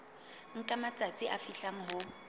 nka matsatsi a fihlang ho